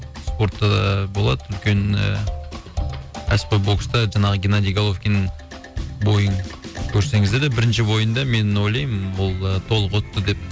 спортта да болады үлкен ііі кәсіпқой бокста жаңағы геннадий головкин бойын көрсеңіздер де бірінші бойында мен ойлаймын ол толық өтті деп